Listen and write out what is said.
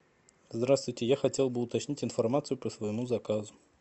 здравствуйте я хотел бы уточнить информацию по своему заказу